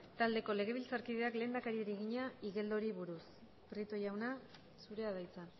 taldeko legebiltzarkideak lehendakariari egina igeldori buruz prieto jauna zurea da hitza